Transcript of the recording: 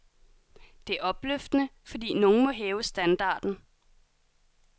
Det er opløftende, fordi nogen må hæve standarden.